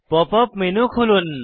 pop up menu খুলুন